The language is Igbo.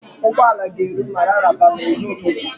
Ụgbọala ga-eru Mararaba n'ụzọ ụtụtụ.